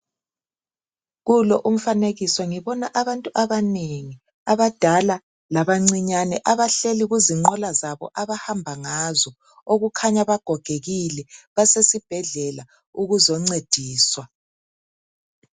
Kulo umfanekiso ngibona abantu abanengi abadala labancinyane abahleli kuzinqola zabo abahamba ngazo, okukhanya bagogekile basesibhedlela ukuzoncediswa.